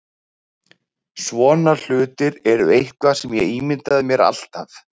Svona hlutir eru eitthvað sem ég ímyndaði mér alltaf.